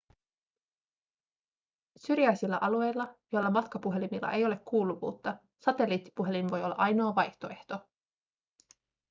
syrjäisillä alueilla joilla matkapuhelimilla ei ole kuuluvuutta satelliittipuhelin voi olla ainoa vaihtoehto